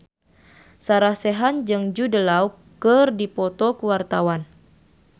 Sarah Sechan jeung Jude Law keur dipoto ku wartawan